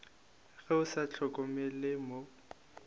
ge o sa hlokomele mo